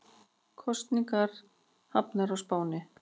Kosningar hafnar á Spáni